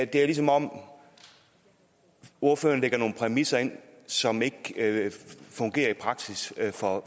det er ligesom om ordføreren lægger nogle præmisser ind som ikke fungerer i praksis for